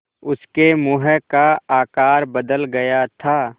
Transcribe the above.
उसके मुँह का आकार बदल गया था